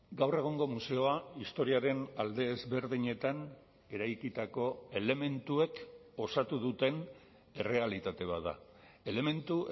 gaur egungo museoa historiaren alde ezberdinetan eraikitako elementuek osatu duten errealitate bat da elementu